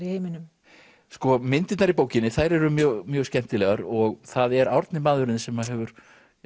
í heiminum sko myndirnar í bókinni þær eru mjög mjög skemmtilegar og það er Árni maðurinn þinn sem hefur